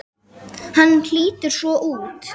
Hann lítur svona út